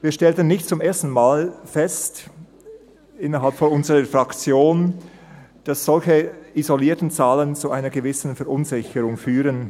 Innerhalb unserer Fraktion stellten wir nicht zum ersten Mal fest, dass solche isolierten Zahlen zu einer gewissen Verunsicherung führen.